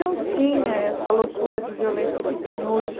Não tinha essa loucura de violência que tem hoje.